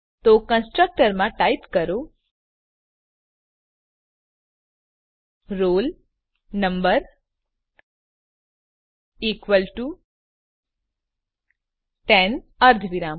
તો કન્સ્ટ્રક્ટર માં ટાઈપ કરો roll number equal to ten અર્ધવિરામ